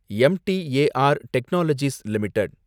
M T A R technologies limited